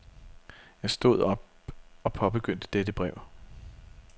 Jeg stod op og påbegyndte dette brev.